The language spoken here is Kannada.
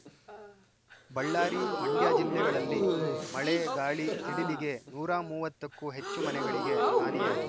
ಬಳ್ಳಾರಿ ಮಂಡ್ಯ ಜಿಲ್ಲೆಗಳಲ್ಲಿ ಮಳೆ ಗಾಳಿ ಸಿಡಿಲಿಗೆ ನೂರ ಮೂವತ್ತಕ್ಕೂ ಹೆಚ್ಚು ಮನೆಗಳಿಗೆ ಹಾನಿಯಾಗಿದೆ